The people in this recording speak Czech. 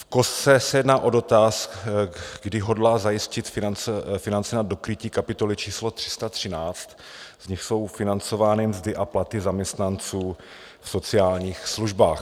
V kostce se jedná o dotaz, kdy hodlá zajistit finance na dokrytí kapitoly číslo 313, z nichž jsou financovány mzdy a platy zaměstnanců v sociálních službách.